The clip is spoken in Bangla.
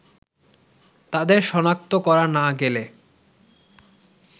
তাদের সনাক্ত করা না গেলে